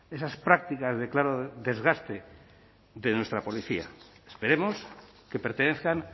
esas prácticas de claro desgaste de nuestra policía esperemos que pertenezcan